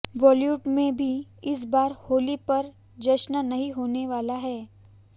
बॉलीवुड में भी इस बार होली पर जश्न नही होने वाला है